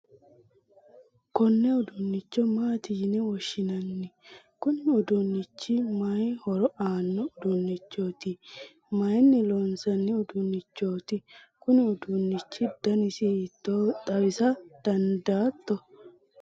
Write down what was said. konne uduunnicho maati yini woshshinanni? kuni uduunnichi mayi horo aanno uduunnichooti? mayiinni loonsanni uduunnichooti? kuni uduunichi danasi hiittooho xawisa dandaatto?